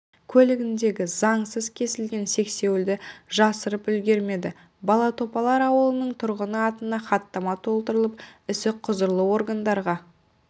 көлігіндегі заңсыз кесілген сексеуілді жасырып үлгермеді балатопар ауылының тұрғыны атына хаттама толтырылып ісі құзырлы органдарға